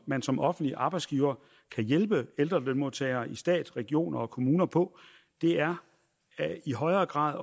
man som offentlig arbejdsgiver kan hjælpe ældre lønmodtagere i stat regioner og kommuner på er i højere grad